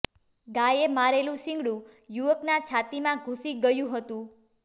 ગાયે મારેલુ શિંગડુ યુવકના છાતીમાં ઘૂસી ગયું હતું